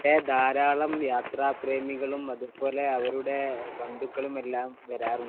അവിടെ ധാരാളം യാത്രാ പ്രേമികളും അവരുടെ ബന്ധുക്കളും വരാറുണ്ട്